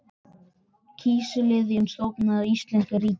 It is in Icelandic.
Kísiliðjan stofnuð af íslenska ríkinu og